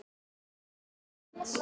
Hún velti sér á magann.